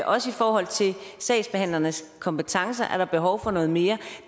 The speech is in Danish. også i forhold til sagsbehandlernes kompetencer behov for noget mere